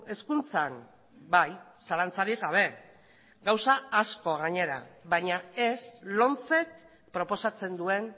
hezkuntzan bai zalantzarik gabe gauza asko gainera baina ez lomcek proposatzen duen